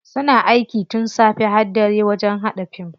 Suna aiki tun safe har dare wajen haɗa fim.